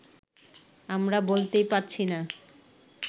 আমরা বলতেই পারছি না